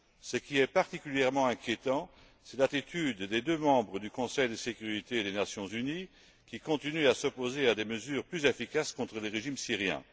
Ce qui est particulièrement inquiétant, c'est l'attitude des deux membres du Conseil de sécurité des Nations unies, qui continuent à s'opposer à des mesures plus efficaces contre le régime syrien.